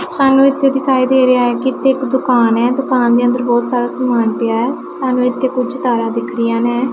ਸਾਨੂੰ ਇੱਥੇ ਦਿਖਾਈ ਦੇ ਰਿਹਾ ਐ ਕਿ ਕਿਤੇ ਇੱਕ ਦੁਕਾਨ ਐ ਦੁਕਾਨ ਦੇ ਅੰਦਰ ਬਹੁਤ ਸਾਰਾ ਸਮਾਨ ਪਿਆ ਐ ਸਾਨੂੰ ਇੱਥੇ ਕੁਝ ਤਾਰਾਂ ਦਿਖ ਰਹੀਆਂ ਨੇ।